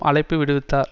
அழைப்பு விடுவித்தார்